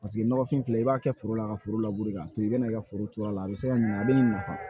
Paseke nɔgɔfin filɛ i b'a kɛ foro la ka foro k'a to i bɛ na i ka foro turu a la a bɛ se ka ɲina a bɛ nin nafa